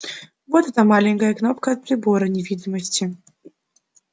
вот эта маленькая кнопка от прибора невидимости